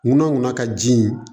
Ŋunanŋunan ka ji